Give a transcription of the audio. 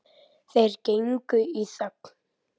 Þeir gengu í þögn.